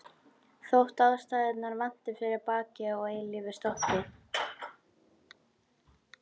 Þótt ástæðurnar vanti fyrir bakki og eilífu stoppi.